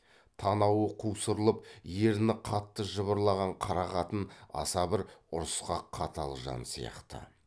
танауы қусырылып ерні қатты жыбырлаған қара қатын аса бір ұрысқақ қатал жан сияқты